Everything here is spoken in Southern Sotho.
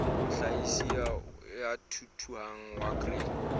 mohlahisi ya thuthuhang wa grain